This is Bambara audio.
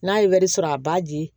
N'a ye wari sɔrɔ a b'a di